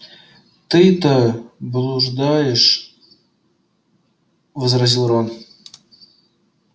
ты-то блуждаешь возразил рон